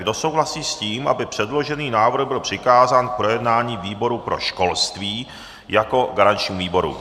Kdo souhlasí s tím, aby předložený návrh byl přikázán k projednání výboru pro školství jako garančnímu výboru.